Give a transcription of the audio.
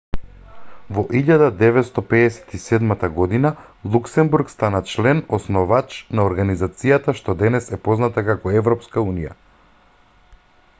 во 1957 година луксембург стана член основач на организацијата што денес е позната како европска унија